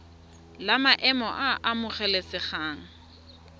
la maemo a a amogelesegang